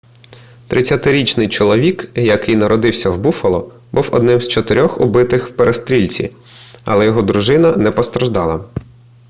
30-річний чоловік який народився в буффало був одним з чотирьох убитих в перестрілці але його дружина не постраждала